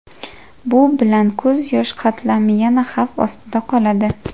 Bu bilan ko‘z yosh qatlami yana xavf ostida qoladi.